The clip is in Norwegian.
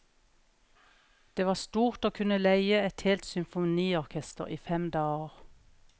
Det var stort å kunne leie et helt symfoniorkester i fem dager.